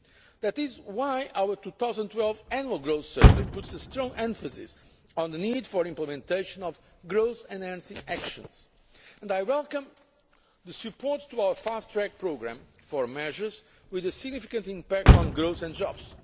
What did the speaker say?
That is why our 2012 Annual Growth Survey puts a strong emphasis on the need for implementation of growth enhancing actions, and I welcome the support for our fast track programme for measures with a significant impact on growth and jobs.